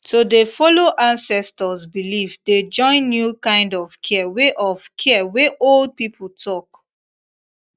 to dey follow ancestors belief dey join new kind of care wey of care wey old people talk